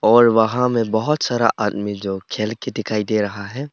और वहां में बहोत सारा आदमी जो खेल के दिखाई दे रहा है।